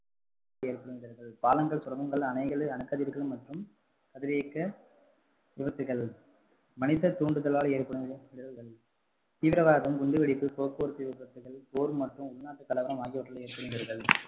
ஏற்படும் இடர்கள். பாலங்கள், சுரங்கங்கள் அணைகள், அணுக்கதிர்கள் மற்றும் கதிரியக்க விபத்துகள் மனித தூண்டுதலால் ஏற்படும் இடர்கள் தீவிரவாதம், குண்டுவெடிப்பு, போக்குவரத்து விபத்துக்கள், போர் மற்றும் உள்நாட்டு கலவரம் ஆகியவற்றால் ஏற்படும் இடர்கள்